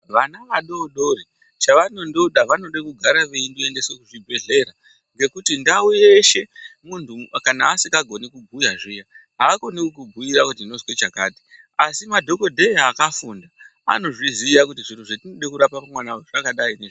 Vana vadodori chavanongoda vanoda kugara veiendeswa kuchibhedhlera ngekuti ndau yeshe muntu kana asikagone kubhuya zviya hakone kukubhuira kuti ndozwe chakati asi madhokodheya akafunda anozviziya kuti zviro zvatinoda kurapa pamwana uyu zvakadai .